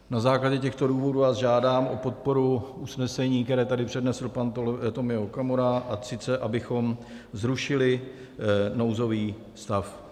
Na základě těchto důvodů vás žádám o podporu usnesení, které tady přednesl pan Tomio Okamura, a sice abychom zrušili nouzový stav.